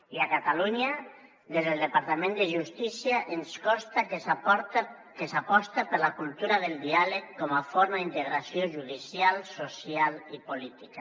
i a catalunya des del departament de justícia ens consta que s’aposta per la cultura del diàleg com a forma d’integració judicial social i política